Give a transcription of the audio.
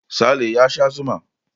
Sale ya sha zuma.